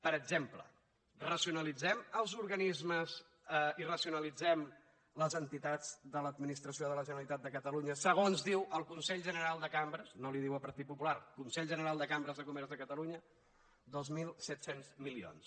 per exemple racionalitzem els organismes i racionalitzem les entitats de l’administració de la generalitat de catalunya segons diu el consell general de cambres no li ho diu el partit popular consell general de cambres de comerç de catalunya dos mil set cents milions